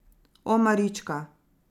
O, marička.